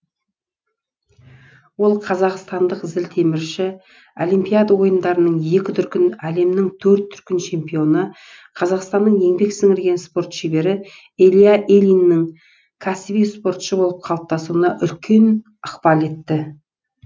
ол қазақстандық зілтемірші олимпиада ойындарының екі дүркін әлемнің төрт дүркін чемпионы қазақстанның еңбек сіңірген спорт шебері илья ильиннің кәсіби спортшы болып қалыптасуына үлкен ықпал етті